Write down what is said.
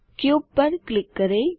cube पर click करें